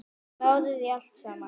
Klárir í allt saman?